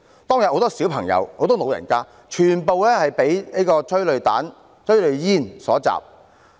當天有很多小朋友、長者，全部被催淚煙所襲。